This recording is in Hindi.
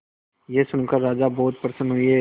यह सुनकर राजा बहुत प्रसन्न हुए